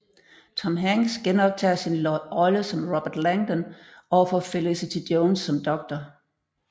Tom Hanks genoptager sin rolle som Robert Langdon overfor Felicity Jones som Dr